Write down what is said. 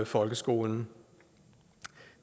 folkeskolen